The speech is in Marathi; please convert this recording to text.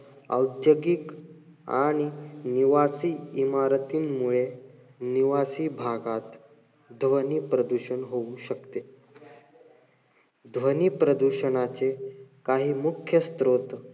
औद्योगिक आणि निवासी इमारतींमुळे, निवासी भागात ध्वनी प्रदूषण होऊ शकते. ध्वनी प्रदूषणाचे काही मुख्य स्रोत,